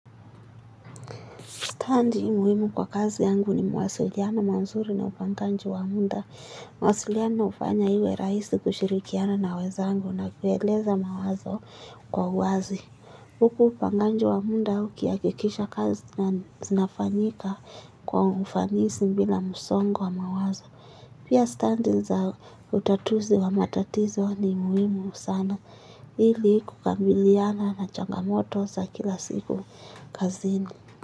Standi muhimu kwa kazi yangu ni mawasiliano manzuri na upanganji wa mnda. Mawasiliano hufanya iwe rahisi kushirikiana na weza angu na kueleza mawazo kwa uwazi. Huku upanganji wa muda huki akikisha kazi na zinafanyika kwa ufanisi bila msongo wa mawazo. Pia standi za utatuzi wa matatizo ni muhimu sana hili kukabiliana na changamoto za kila siku kazini.